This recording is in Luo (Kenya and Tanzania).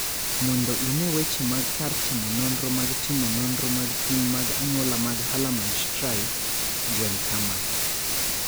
Mondo ine weche mag kar timo nonro mag timo nonro mag pim mag anyuola mag Hallermann Streiff, gwel kama.